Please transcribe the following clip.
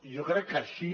i jo crec que així